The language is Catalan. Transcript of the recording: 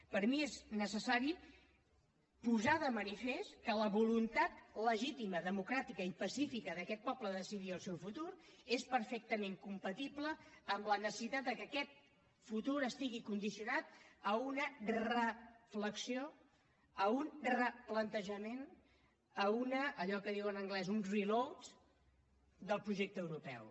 per mi és necessari posar de manifest que la voluntat legítima democràtica i pacífica d’aquest poble de decidir el seu futur és perfectament compatible amb la necessitat de que aquest futur estigui condicionat a una reflexió a un replantejament a allò que en diuen en anglès un reload del projecte europeu